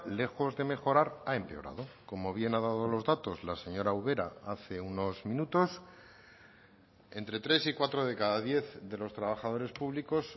lejos de mejorar ha empeorado como bien ha dado los datos la señora ubera hace unos minutos entre tres y cuatro de cada diez de los trabajadores públicos